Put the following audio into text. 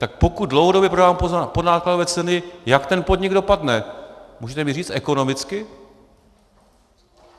Tak pokud dlouhodobě prodávám za podnákladové ceny, jak ten podnik dopadne, můžete mi říct, ekonomicky?